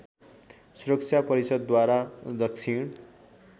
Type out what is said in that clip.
सुरक्षा परिषदद्वारा दक्षिण